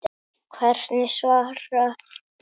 Hvernig svararðu því?